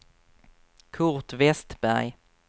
Kurt Westberg